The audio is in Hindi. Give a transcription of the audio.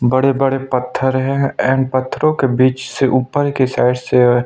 बड़े-बड़े पत्थर है औ इन पत्थरों के बीच से ऊपर के साइड से--